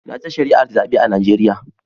Na ta shari'ar zabe a Najeriya.